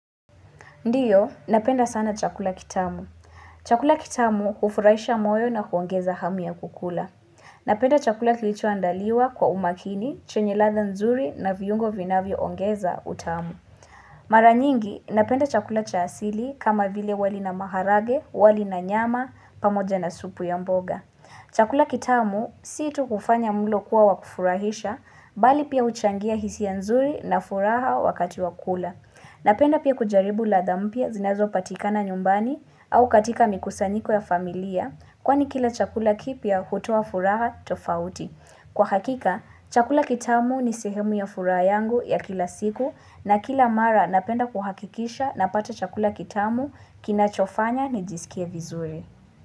Ndiyo, napenda sana chakula kitamu. Chakula kitamu hufurahisha moyo na huongeza hamu ya kukula. Napenda chakula kilichoandaliwa kwa umakini, chenye ladha nzuri na viungo vinavyoongeza utamu. Mara nyingi, napenda chakula cha asili kama vile wali na maharage, wali na nyama, pamoja na supu ya mboga. Chakula kitamu, si tu kufanya mlo kuwa wakufurahisha, bali pia huchangia hisia nzuri na furaha wakati wa kukula. Napenda pia kujaribu ladha mpia zinazo patikana nyumbani au katika mikusanyiko ya familia kwani kila chakula kipya hutoa furaha tofauti. Kwa hakika, chakula kitamu ni sehemu ya furaha yangu ya kila siku na kila mara napenda kuhakikisha napata chakula kitamu kinachofanya nijisikie vizuri.